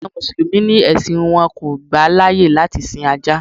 Àwọn Mùsùlùmí ni ẹ̀sìn wọn kò gbà láyè láti sin Ajá.